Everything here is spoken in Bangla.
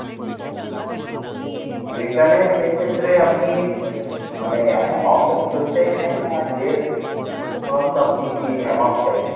return এ সেই ক্ষেত্রে আপনি আহ মানে amount টা ফেরত চাইছেন? না, এর উপরন্তু আপনি কী amount চাইছেন?